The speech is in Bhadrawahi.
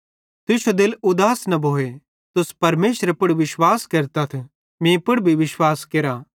तुश्शो दिल उदास न भोए तुस परमेशरे पुड़ विश्वास केरतथ मीं पुड़ भी विश्वास केरा